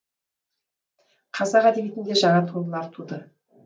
қазақ әдебиетінде жаңа туындылар туды